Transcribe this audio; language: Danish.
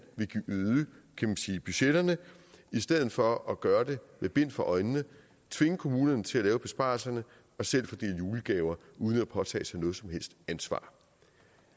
vil øge budgetterne i stedet for at gøre det med bind for øjnene og tvinge kommunerne til at lave besparelserne og selv fordele julegaver uden at påtage sig noget som helst ansvar